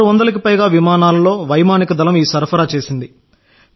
నేను 1600 కి పైగా విమానాలలో వైమానిక దళం ఈ సరఫరా చేసింది